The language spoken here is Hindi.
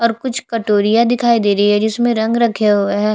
और कुछ कटोरियाँ दिखाई दे रही है जिसमें रंग रखे हुए हैं।